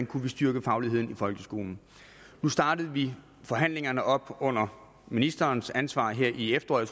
kunne styrke fagligheden i folkeskolen nu startede vi forhandlingerne op under ministerens ansvar her i efteråret